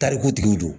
Tariku tigiw don